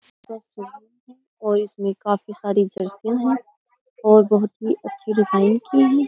और इसमें काफ़ी सारी और बहुत ही अच्छी डिज़ाइन की हैं।